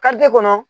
Ka te kɔnɔ